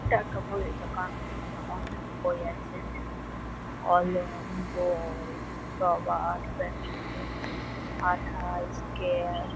এটা একটা বইয়ের দোকান। এখানে অনেক বই আছে। কল-অম ব-অই রবার পেন্সিল আঠা স্কেল ।